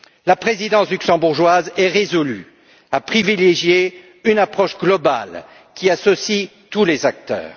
La présidence luxembourgeoise est résolue à privilégier une approche globale qui associe tous les acteurs.